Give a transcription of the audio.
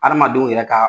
Adamadenw yɛrɛ ka